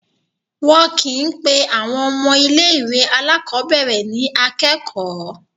Wọn kì í pe àwọn ọmọ ilé-ìwé alákọ̀ọ́bẹ̀rẹ̀ ní akẹ́kọ̀ọ́.